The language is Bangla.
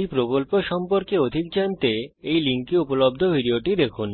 উদাহরণস্বরূপ 11010 gt 26 স্পোকেন টিউটোরিয়াল প্রকল্প সম্পর্কে অধিক জানতে এই লিঙ্কে উপলব্ধ ভিডিওটি দেখুন